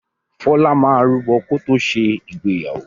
Fọlá máa rúbọ̀ kó ṣe ìgbéyàwó.